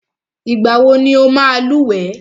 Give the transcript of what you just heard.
Ìgbà wọ ní ọ máa lúwẹ̀ẹ́?